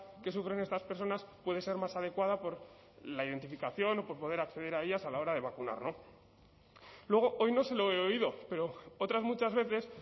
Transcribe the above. que sufren estas personas puede ser más adecuada por la identificación o por poder acceder a ellas a la hora de vacunar luego hoy no se lo he oído pero otras muchas veces